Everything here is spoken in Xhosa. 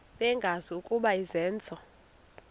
bengazi ukuba izenzo